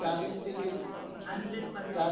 ચાલીસ ticket